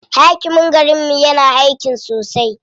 Hakimin garinmu yana aiki sosai.